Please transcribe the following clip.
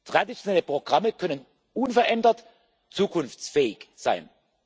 Traditionelle Programme können unverändert zukunftsfähig sein.